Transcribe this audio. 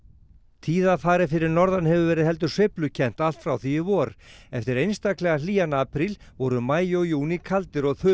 tíðarfarið fyrir norðan hefur verið heldur sveiflukennt allt frá því í vor eftir einstaklega hlýjan apríl voru maí og júní kaldir og